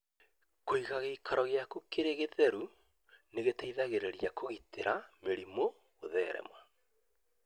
Kũiga gĩikaro gĩaku kĩrĩ gĩtheru nĩ gũteithagia kũgirĩrĩria mũrimũ ndũthereme.